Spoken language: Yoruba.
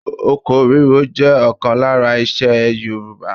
Oko ríro jẹ́ ọ̀kan lára isẹ Yorùbá.